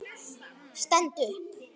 Stend upp.